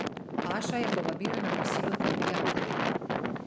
Aša je povabila na kosilo tri prijatelje.